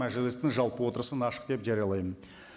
мәжілістің жалпы отырысын ашық деп жариялаймын